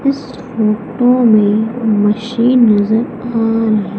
इस फोटो मे मशीन नजर आ रही--